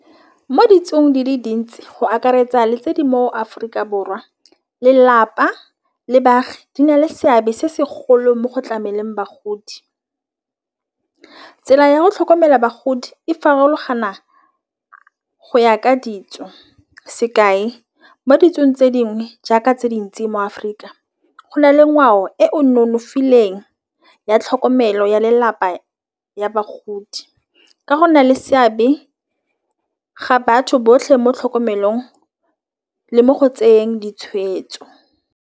Mo ditsong di le dintsi go akaretsa le tse di mo Aforika Borwa lelapa le baagi di na le seabe se se golo mo go tlameleng bagodi. Tsela ya go tlhokomela bagodi e farologana go ya ka ditso sekai ba ditsong tse dingwe jaaka tse dintsi mo Afrika go na le ngwao e o nonofileng ya tlhokomelo ya lelapa ya bagodi. Ka go nna le seabe ga batho botlhe mo tlhokomelong le mo go tseyeng ditšhwetso.